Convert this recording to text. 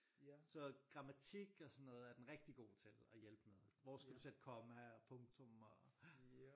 Så grammatik og sådan noget er den rigtig god til at hjælpe med hvor skal du sætte komma og punktum og